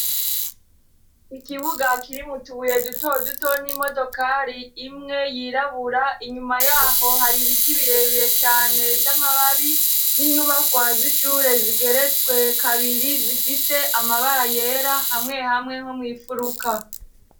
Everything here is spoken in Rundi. ikibuga kiri m'utubuye duto duto n'imodokari imwe yirabura, inyuma yaho hari ibiti birebire cane vy'amababi, n'inyubakwa z'ishure zigeretswe kabiri, zifise amabara yera hamwe hamweho mu ifuruka.